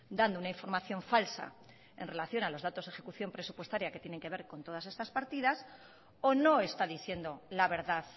dando una información falsa en relación a los datos de ejecución presupuestaria que tienen que ver con todas estas partidas o no está diciendo la verdad